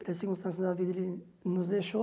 Pelas circunstâncias da vida ele nos deixou.